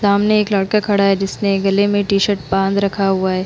सामने एक लड़का खड़ा है जिसने गले में टी-शर्ट बांध रखा हुआ है।